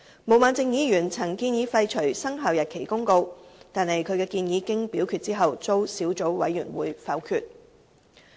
毛孟靜議員曾建議廢除《生效日期公告》，但其建議經表決後遭小組委員會否決。